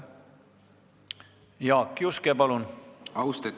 Jaak Juske, palun!